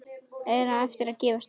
Er það að gefast vel?